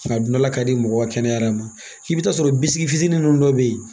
A dundala ka di mɔgɔ kɛnɛya yɛrɛ ma i bɛ t'a sɔrɔ bisigi fitinin ninnu dɔw bɛ yen